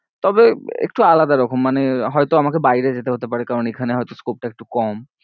তবে একটু আলাদা রকম মানে হয়তো আমাকে বাইরে যেতে হতে পারে কারণ এখানে হয়তো scope টা একটু কম